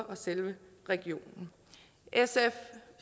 og selve religionen sf